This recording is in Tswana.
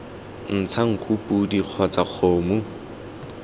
ntsha nku podi kgotsa kgomo